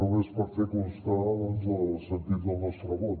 només per fer constar doncs el sentit del nostre vot